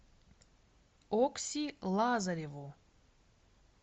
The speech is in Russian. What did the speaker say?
окси лазареву